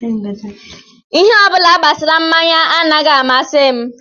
Ihe ọ bụla gbasara mmanya anaghị amasị m